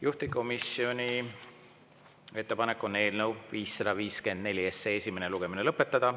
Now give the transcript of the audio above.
Juhtivkomisjoni ettepanek on eelnõu 554 esimene lugemine lõpetada.